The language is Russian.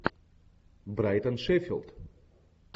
брайтон шеффилд